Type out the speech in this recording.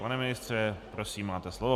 Pane ministře, prosím, máte slovo.